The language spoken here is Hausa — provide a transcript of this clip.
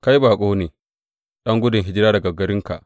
Kai baƙo ne, ɗan gudun hijira daga garinka.